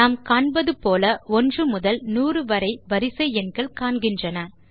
நாம் காண்பது போல 1 முதல் 100 வரை வரிசை எண்கள் காண்கின்றன